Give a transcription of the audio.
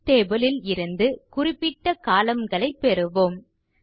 books table ல் இருந்து குறிப்பிட்ட கோலம்ன் களை பெறுவோம்